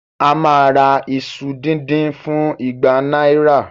A máa ra iṣu díndín fún igba náírà